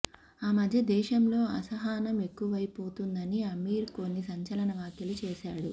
ఆ మధ్య దేశంలో అసహనం ఎక్కువైపోతుందని అమీర్ కొన్ని సంచలన వ్యాఖ్యలు చేసాడు